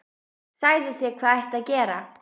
Sagði þér hvað ætti að gera.